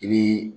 I bi